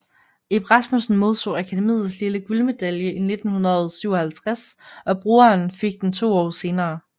Ib Rasmussen modtog Akademiets lille guldmedalje 1957 og broderen fik den to år senere